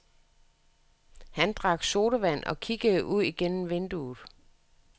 Han drak sodavand og kiggede ud gennem vinduet.